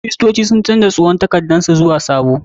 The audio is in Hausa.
Kiristoci sun canja tsohon takardar su zuwa sabo.